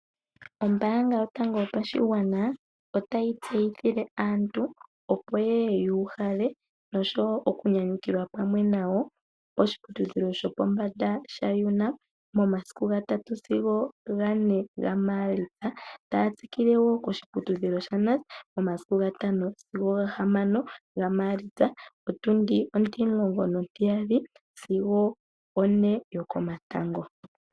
Ombanga yotango yopashingwana otayi tseyithile aantu opo yeye yuhale nosho wo oku nyanyukilwa pamwe nayo poshiputudhilo shopombanda sha UNAM momasiku ngatatu sigo gane nga malitsa taya tsikile wo koshiputudhilo sha NUST momasiku ngatano sigo ngahamano nga malitsa potundi otimulongo notiyali sigo one yokomatango.